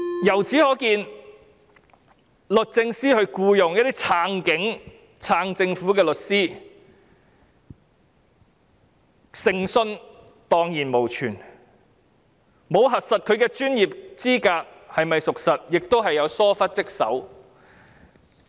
由此可見，律政司僱用一些支持警察、支持政府的律師，誠信蕩然無存，沒有核實其專業資格是否屬實，亦是疏忽職守。